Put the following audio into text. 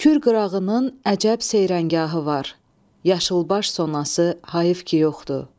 Kür qırağının əcəb seyrəngahı var, yaşılbaş sonası hayıf ki yoxdur.